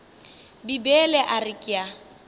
bibele a re ke a